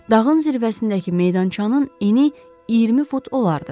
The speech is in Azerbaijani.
Dağın zirvəsindəki meydançanın eni 20 fut olardı.